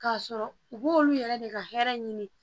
K'a sɔrɔ u b'olu yɛrɛ de ka hɛrɛ ɲini